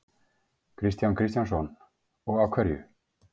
Kristján Kristjánsson: Og af hverju?